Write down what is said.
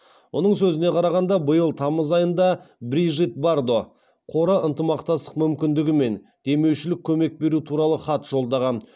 оның сөзіне қарағанда биыл тамыз айында брижит бардо қоры ынтымақтастық мүмкіндігі мен демеушілік көмек беру туралы хат жолдаған